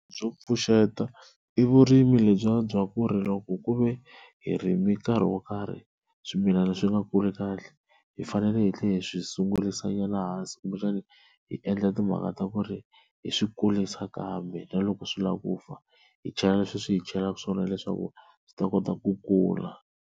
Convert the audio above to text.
Byo pfuxeta i vurimi lebyiya bya ku ri loko ku ve hi rimi nkarhi wo karhi swimilana swi nga kuli kahle hi faneleke hi tlhela hi swi sungurisanyana hansi kumbexani hi endla timhaka ta ku ri hi swi kurisa kambe na loko swi lava ku fa hi chela leswi hi chelaka swona leswaku swi ta kota ku kula.